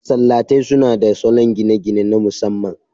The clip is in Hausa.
Masallatai suna da salon gine-gine na masamman.